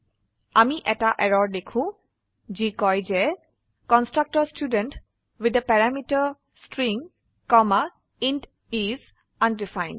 আমি এটা এৰৰ দেখো যি কয় যে constructor student with the parameter string comma int is undefined